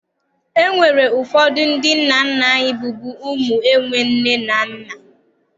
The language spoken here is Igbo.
E nwere ụfọdụ ndị nna nna anyị bụbu ụmụ enwe nne na nna.